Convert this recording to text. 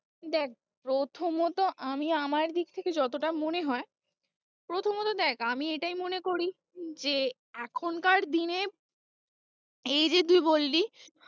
দেখ প্রথমত আমি আমার দিক থেকে যতটা মনে হয়, প্রথমত দেখ আমি এটাই মনে করি যে, এখনকার দিনে এই যে তুই বললি!